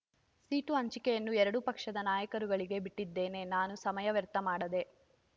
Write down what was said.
seat ಹಂಚಿಕೆಯನ್ನು ಎರಡೂ ಪಕ್ಷದ ನಾಯಕರುಗಳಿಗೆ ಬಿಟ್ಟಿದ್ದೇನೆ ನಾನು ಸಮಯ ವ್ಯರ್ಥ ಮಾಡದೆ